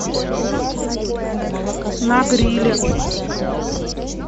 на гриле